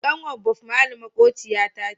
Kanwar bob Merely makwabciyata ta ce